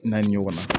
Naani ɲɔgɔn na